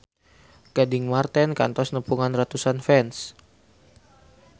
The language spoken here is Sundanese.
Gading Marten kantos nepungan ratusan fans